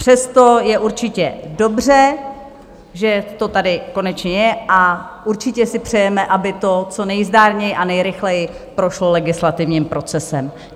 Přesto je určitě dobře, že to tady konečně je, a určitě si přejeme, aby to co nejzdárněji a nejrychleji prošlo legislativním procesem.